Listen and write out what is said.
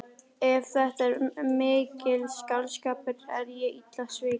Ef þetta er ekki mikill skáldskapur er ég illa svikin.